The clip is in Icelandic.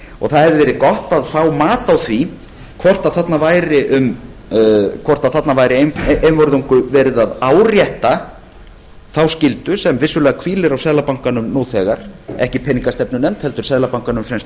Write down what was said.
það hefði verið gott að fá mat á því hvort þarna væri einvörðungu verið að árétta þá skyldu sem vissulega hvílir á seðlabankanum nú þegar ekki peningastefnunefnd heldur seðlabankanum sem